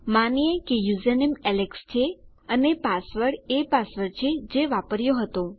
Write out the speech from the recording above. માનીએ કે username Alex છે અને પાસવર્ડ એ પાસવર્ડ છે જે વાપર્યો હતો